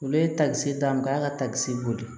Olu ye takisi d'a ma k'a ka takisi boli